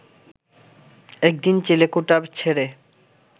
একদিন চিলেকোঠা ছেড়ে